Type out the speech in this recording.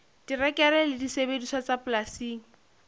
terekere le disebediswa tsa polasing